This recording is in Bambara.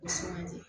O suman di